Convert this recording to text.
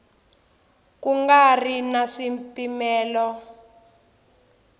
ku nga ri na swipimelo